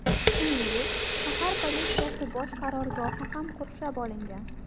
Shuningdek, shahar politsiyasi bosh qarorgohi ham qurshab olingan.